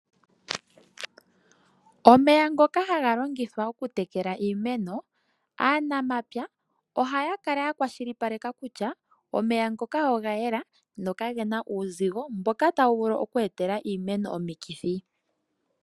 Omeya ngoka haga longithwa okutekala iimeno, aanamapya ohaya kala ya kwashilipaleka kutya omeya ngoka oga yela nokage na uuzigo mboka tawu vulu oku etela iimeno omikithi.